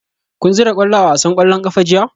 Kun zura kwallo a wasan kwallon kafa jiya?